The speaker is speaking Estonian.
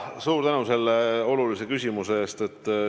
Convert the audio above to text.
Suur tänu selle olulise küsimuse eest!